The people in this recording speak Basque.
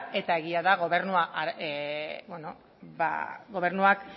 eta egia da gobernuak